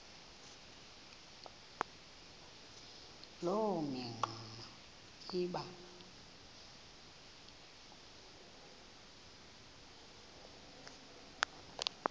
loo mingxuma iba